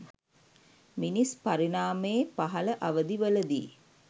මිනිස් පරිණාමයේ පහළ අවධිවලදී